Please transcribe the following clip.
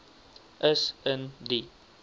is in die